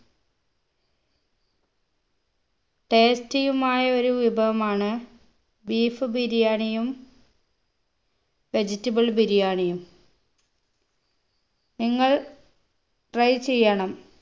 tasty യുമായ ഒരു വിഭവമാണ് beef ബിരിയാണിയും vegetable ബിരിയാണിയും നിങ്ങൾ try ചെയ്യണം